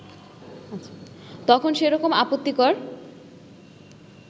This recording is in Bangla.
তখন সেরকম আপত্তিকর